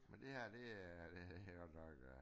***UF**